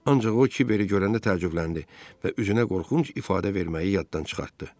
Ancaq o kibəri görəndə təəccübləndi və üzünə qorxunc ifadə verməyi yaddan çıxartdı.